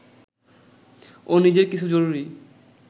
ও নিজের কিছু জরুরি